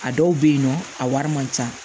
A dɔw bɛ yen nɔ a wari man ca